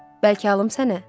Bəlkə alım sənə?